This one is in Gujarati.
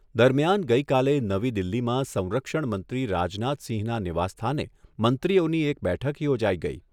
દરમિયાન ગઈકાલે નવી દિલ્હીમાં સંરક્ષણ મંત્રી રાજનાથસિંહના નિવાસસ્થાને મંત્રીઓની એક બેઠક યોજાઈ ગઈ.